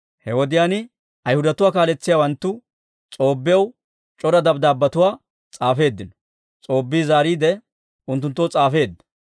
He wodiyaan Ayhudatuwaa kaaletsiyaawanttu S'oobbiyaw c'ora dabddaabbetuwaa s'aafeeddino; S'oobbi zaariide, unttunttoo s'aafeedda.